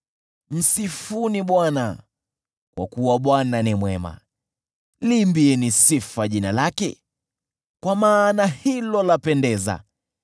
Msifuni Bwana , kwa kuwa Bwana ni mwema, liimbieni sifa jina lake, kwa maana hilo lapendeza.